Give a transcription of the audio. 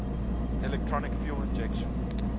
electronic fuel injection